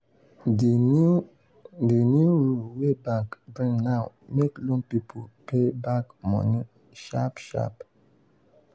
di new di new rule wey bank bring now make loan people pay back money sharp sharp.